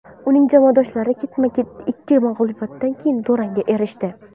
Uning jamoadoshlari ketma-ket ikki mag‘lubiyatdan keyin durangga erishdi.